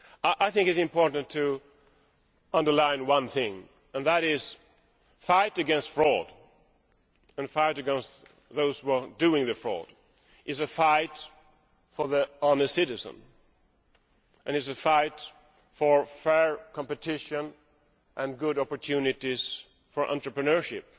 I think it is important to underline one thing, and that is that the fight against fraud and the fight against those committing fraud is a fight for the honest citizen and a fight for fair competition and good opportunities for entrepreneurship.